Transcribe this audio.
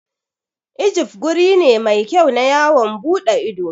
Ijif guri ne mai kyau na yawon ɓuɗe ido.